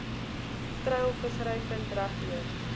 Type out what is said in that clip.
treilvissery vind regdeur